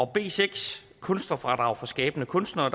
b seks kunstnerfradrag for skabende kunstnere